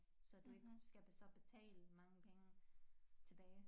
Så du ikke skal så betale så mange penge tilbage